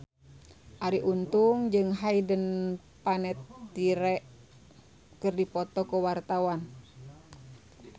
Arie Untung jeung Hayden Panettiere keur dipoto ku wartawan